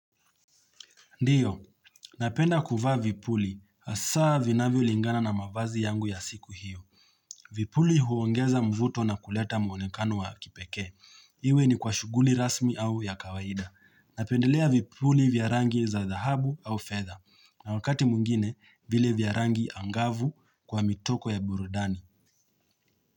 Ndiyo, napenda kuvaa vipuli. Asaa vinavyolingana na mavazi yangu ya siku hiyo. Vipuli huongeza mvuto na kuleta muonekanu wa kipekee. Iwe ni kwa shughuli rasmi au ya kawaida. Napendelea vipuli vya rangi za dhahubu au fedha. Na wakati mwingine vile vya rangi angavu kwa mituko ya burudani.